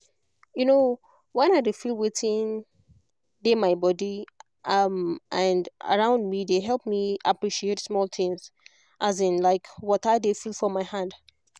um when i dey feel wetin dey my body um and around me dey help me appreciate small things um like as water dey feel for my hand